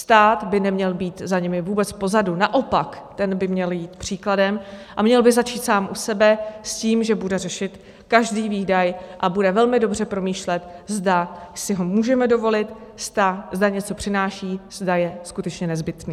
Stát by neměl být za nimi vůbec pozadu, naopak ten by měl jít příkladem a měl by začít sám u sebe s tím, že bude řešit každý výdaj a bude velmi dobře promýšlet, zda si ho můžeme dovolit, zda něco přináší, zda je skutečně nezbytný.